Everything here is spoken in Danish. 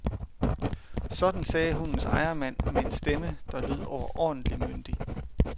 Sådan sagde hundens ejermand med en stemme, der lød overordentlig myndig.